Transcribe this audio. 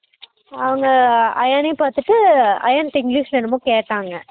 அவங்க அயன்னை பாத்துட்டு அயண்ட english ல என்னமோ கேட்டாங்க